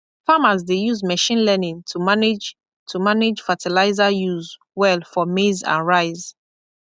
farmers dey use machine learning to manage to manage fertilizer use well for maize and rice